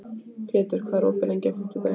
Pétur, hvað er opið lengi á fimmtudaginn?